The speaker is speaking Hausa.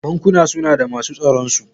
Bankuna suna da masu tsaronsu.